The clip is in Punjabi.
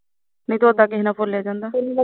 ਨਹੀਂ ਤਾਂ ਉਦਾ ਕਿਸੇ ਨਾਲ ਬੋਲਿਆ ਜਾਂਦਾ